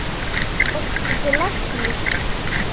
Fórstu til læknis?